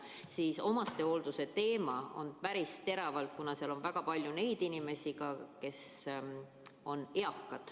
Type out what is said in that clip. Kuid omastehoolduse teema on päris terav, kuna seal on väga palju neid inimesi, kes on eakad.